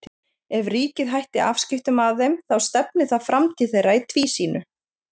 Ef ríkið hætti afskiptum af þeim þá stefni það framtíð þeirra í tvísýnu.